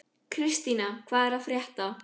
Kristína, hvað er að frétta?